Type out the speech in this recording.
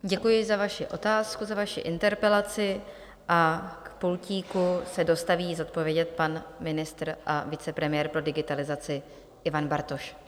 Děkuji za vaši otázku, za vaši interpelaci, a k pultíku se dostaví zodpovědět pan ministr a vicepremiér pro digitalizaci Ivan Bartoš.